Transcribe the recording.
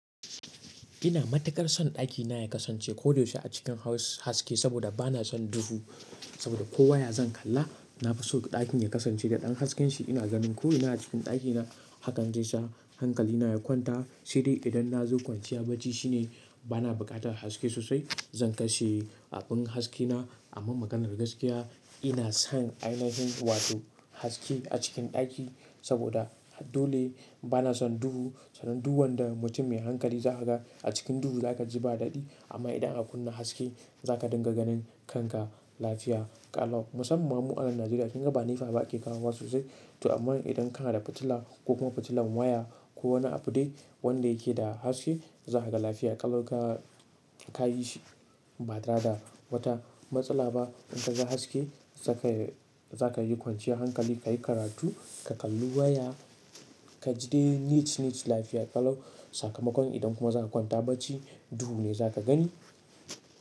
Ina matuƙar son ɗakina ya kasance koda yaushe a cikin haske, saboda bana son duhu. Saboda ko waya zan kalla, na fi so ɗakin ya kasance da ɗan haske shi. Ina ganin ko ina a cikin ɗakina, hakan zai sa hankalina ya kwanta. Sedai idan na zo kwanciya bacci shine bana buƙatar haske sosai. Zan kashe abun haskena, amma maganar gaskiya, ina son ainahin wato haske a cikin ɗaki, saboda dole bana son duhu, sanan du wanda mutum mai hankali za ka ga, a cikin duhu za ka ji ba daɗi. Amma idan aka kunna haske, za ka dinga ganin kanka lafiya ƙalau. Musamman ma mu anan Najeriya, kin ga ba nefa ba ake kawo wa sosai, to amman idan kana da fitila, ko kuma fitilan waya, ko wani abu dai wanda yake da haske, za ka ga lafiya ƙalau ka, ka yi shi, ba tada wata matsala ba, in ka ga haske, zaka yi kwanciyar hankali, ka yi karatu, ka kalli waya, ka ji dai niche niche lafiya ƙalau. Sakamakon idan kuma za ka kwanta bacci, duhu ne za ka gani.